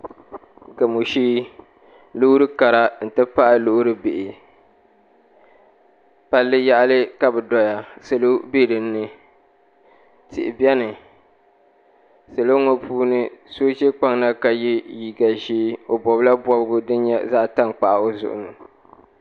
Gamo shee loori kara n ti pahi loori bihi palli yaɣali ka bi doya salo bɛ dinni tihi biɛni salo ŋɔ puuni so ʒi kpaŋ na ka yɛ liiga ʒiɛ o bobla bobgi din nyɛ zaɣ tankpaɣu o zuɣu ni